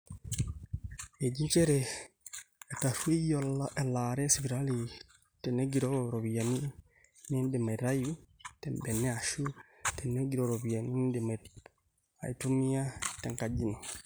eji njere etarrueyie elaare esipitali tenegiroo iropiyiani niindim aitayu tembene aashu tenegiroo iropiyiani niindim aitumia tenkajino